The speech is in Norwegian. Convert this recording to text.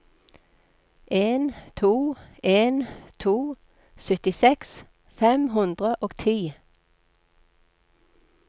en to en to syttiseks fem hundre og ti